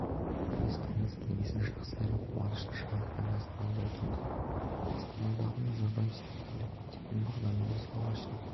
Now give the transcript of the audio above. біз тамыз кеңесін жақсы әрі қуанышты жаңалықпен бастағалы отырмыз астанадағы назарбаев зияткерлік мектебінің бағдарламасы алғаш рет